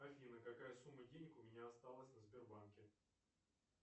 афина какая сумма денег у меня осталась на сбербанке